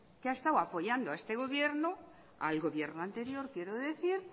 que ha estado apoyando a este gobierno al gobierno anterior quiero decir